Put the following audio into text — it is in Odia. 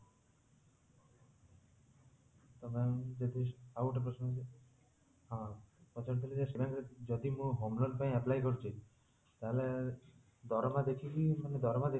ତ ma'am ଯଦି ଆଉ ଗୋଟେ ପ୍ରଶ୍ନ ହଉଛି ହଁ ପଚାରୁଥିଲି ଯେ ସେ ଯଦି ମୁଁ home loan ପାଇଁ apply କରୁଛି ତାହେଲେ ଦରମା ଦେଖିକି